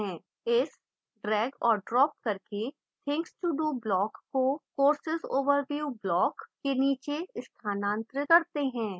इस ड्रैग और ड्राप करके things to do block को course overview block के नीचे स्थानांतरित करते है